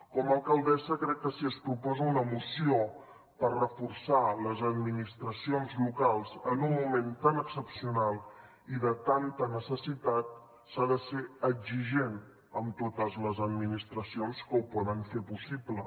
com a alcaldessa crec que si es proposa una moció per reforçar les administracions locals en un moment tan excepcional i de tanta necessitat s’ha de ser exigent amb totes les administracions que ho poden fer possible